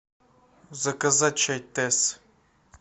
заказать чай тесс